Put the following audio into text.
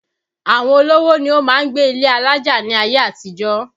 Àwọn olówó ni ó máa ń gbé ilé alájà ní ayé àtijó